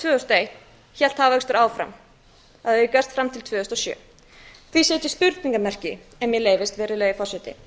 og eitt hélt hagvöxtur áfram og hefur gert fram til tvö þúsund og sjö því set ég spurningarmerki ef mér leyfist virðulegi forseti